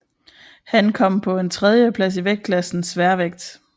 Han kom på en tredjeplads i vægtklassen sværvægt